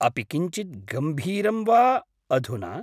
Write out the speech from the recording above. अपि किञ्चिद् गम्भीरं वा अधुना?